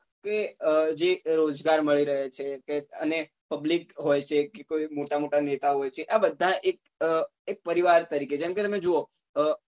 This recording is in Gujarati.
એ અ જે અ રોજગાર મળી રહ્યો છે કે અને public હોય છે કે કોઈ મોટા મોટા નેતા હોય છે આ બધા એક અ એક પરિવાર તરીકે જેમ કે તમે જોવો અ